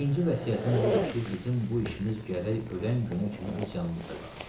İkinci vəsiyyətim budur ki, bizim bu işimiz gərək öləm günə kimi öz yanımızda qalsın.